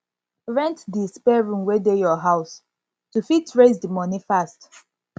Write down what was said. rent di spare room wey dey your house to fit raise di money fast